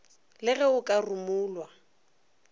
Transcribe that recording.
le ge o ka rumulwa